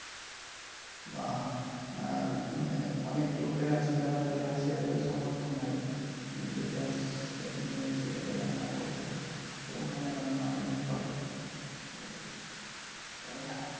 বা অনেক লোকেরা আছে যারা গ্যাসের সামর্থ্য নাই সে গ্যাস নিয়ে সেটাকে রান্না করবে তো উনুনে রান্না অনেকে করে হম